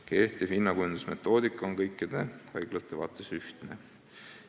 Kehtiv hinnakujundusmetoodika on kõikide haiglate puhul sama.